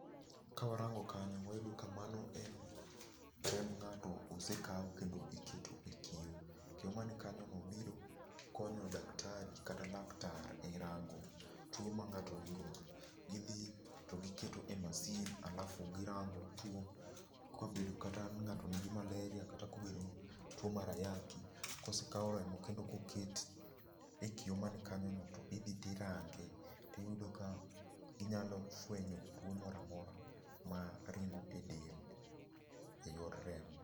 Kawarango kanyo wayudo ka mano en remb ngato osekaw kendo iketo e kiyo. Kiyo mani kanyo no biro konyo daktari kata laktar e rango tuo ma ngato nigodo. Gidhi to giketo e masin alafu girango tuo ,kobedo kata ni ngato nigi malaria kata kobedo ni tuo mar ayaki kosekao remo kendo koket e kiyo man kanyo no tidhi tirange tiyudo ka inyalo fwenyo tuo moro amora ma ringo e del e yor remo.